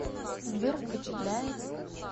сбер впечатляет